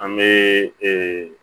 An bɛ